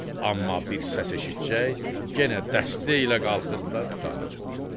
Amma bir səs eşitsəcək yenə dəstə ilə qalxırdılar tut ağacına.